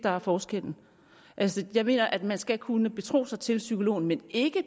der er forskellen jeg mener at man skal kunne betro sig til psykologen men ikke